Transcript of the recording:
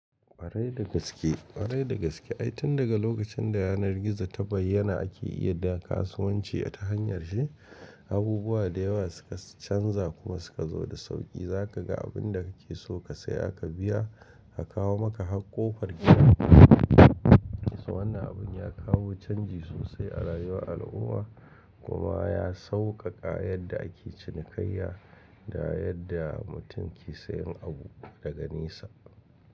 Ƙwarai da gaske, ƙwarai da gaske ai tun daga lokacin da yanar gizo ta bayyana ake iya da kasuwanci ta hanyar shi, abubuwa da yawa suka canza kuma suka zo da sauƙi. Zaka ga abin da kake so ka saya, aka biya a kawo maka har ƙofar gida. Wannan abun ya kawo canji sosai a rayuwar al'umma kuma ya sauƙaƙa yadda ake cinikayya da yadda mutum ke sayan abu daga nesa.